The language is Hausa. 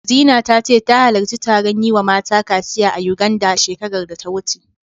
Zina ta ce, ta halarci taron yi wa mata kaciya a Yuganda, shekarar da ta wuce.